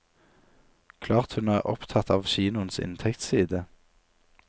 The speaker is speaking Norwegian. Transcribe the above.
Klart hun er opptatt av kinoens inntektsside.